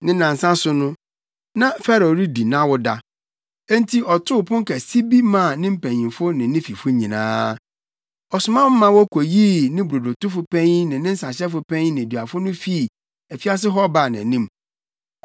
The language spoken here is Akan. Ne nnansa so no, na Farao redi nʼawoda. Enti ɔtoo pon kɛse bi maa ne mpanyimfo ne ne fifo nyinaa. Ɔsoma ma wokoyii ne brodotofo panyin ne ne nsahyɛfo panyin nneduafo no fii afiase hɔ baa nʼanim.